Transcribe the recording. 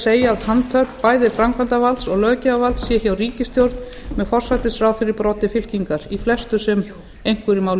segja að handhöfn bæði framkvæmdarvalds og löggjafarvalds sé hjá ríkisstjórn með forsætisráðherra í broddi fylkingar í flestu sem einhverju máli